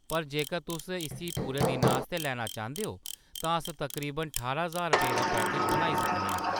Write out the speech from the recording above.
पर जेकर तुस इस्सी पूरे दिनै आस्तै लैना चांह्‌‌‌दे ओ तां अस तकरीबन ठारां ज्हार रुपेऽ दा पैकेज बनाई सकने आं।